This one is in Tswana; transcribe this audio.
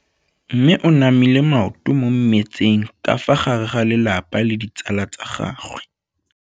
Mme o namile maoto mo mmetseng ka fa gare ga lelapa le ditsala tsa gagwe.